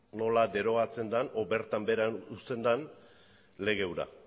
nola derogatzen den edo bertan behera uzten den lege hura